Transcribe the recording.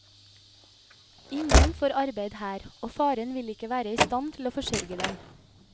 Ingen får arbeid her, og faren vil ikke være i stand til å forsørge dem.